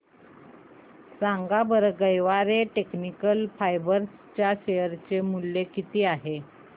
सांगा बरं Garware technical fibres च्या शेअर चे मूल्य किती आहे